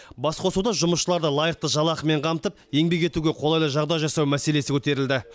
басқосуда жұмысшыларды лайықты жалақымен қамтып еңбек етуге қолайлы жағдай жасау мәселесі көтерілді